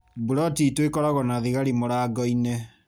Buloti itũ ĩkoragwo na thigari mũrangoinĩ.